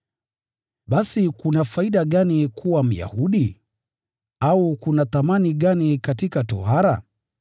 Basi kuna faida gani kuwa Myahudi? Au kuna thamani gani katika tohara?